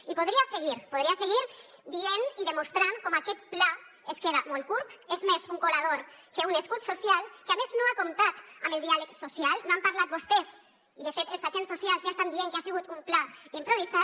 i podria seguir podria seguir dient i demostrant com aquest pla es queda molt curt és més un colador que un escut social que a més no ha comptat amb el diàleg social no han parlat vostès i de fet els agents socials ja estan dient que ha sigut un pla improvisat